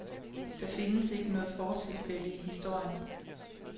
Der findes ikke noget fortilfælde i historien.